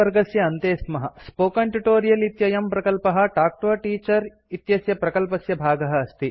spoken tutorial spoken tutorial इत्ययं प्रकल्पः talk to a teacher talk to a teacher इत्यस्य प्रकल्पस्य भागः अस्ति